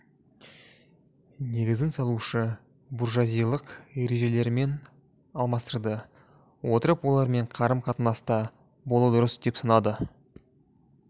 негізін салушы буржуазиялық ережелерімен алмастырды отырып олар мен қарым-қатынаста болу дұрыс деп санады